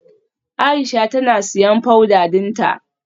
Aisha tana siyan powder dinta.